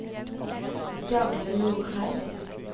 Jarle Norheim